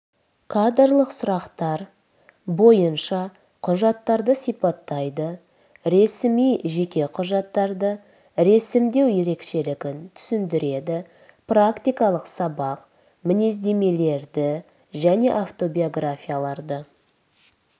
кадрлық сұрақтар бойынша құжаттарды сипаттайды ресми жеке құжаттарды ресімдеу ерекшелігін түсіндіреді практикалық сабақ мінездемелерді және автобиографияларды